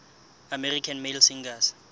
american male singers